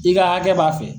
I ka hakɛ b'a fɛ